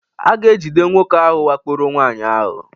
A ga-ejide nwoke ahụ wakporo nwaanyị ahụ